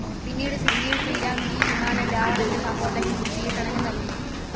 പിന്നീട് ശ്രീരാമൻ ഈ വിമാനം രാവണന്റെ സഹോദരൻ വിഭീഷണനു നൽകി.